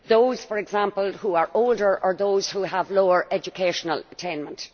those, for example, who are older or those who have lower educational attainment.